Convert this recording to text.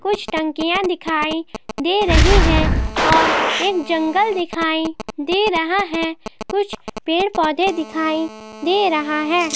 कुछ टंकियाँ दिखाई दे रहीं हैं और एक जंगल दिखाई दे रहा हैं कुछ पेड़ पौधे दिखाई दे रहा हैं।